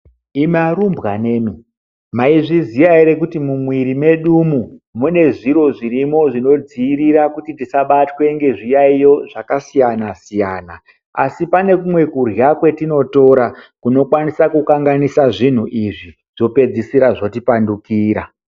Imi arumbwana mi maizviziya ere kuti mumwiri medu umu mune zviro zvinodziirira kuti tisabatwe ngezviyaiyo zvakasiyana siyana asi pane kumwe kurya kwatinotora kunokwanisa kukanganisa zvinhu izvi zvopedzisira zvoti pandukira.